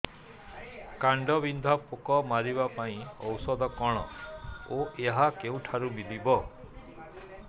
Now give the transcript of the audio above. କାଣ୍ଡବିନ୍ଧା ପୋକ ମାରିବା ପାଇଁ ଔଷଧ କଣ ଓ ଏହା କେଉଁଠାରୁ ମିଳିବ